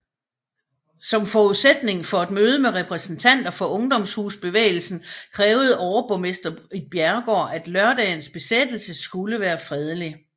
Som forudsætning for et møde med repræsentanter for ungdomshusbevægelsen krævede overborgmester Ritt Bjerregaard at lørdagens besættelse skulle være fredelig